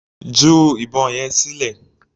Ju ìbọn yẹn sílẹ̀.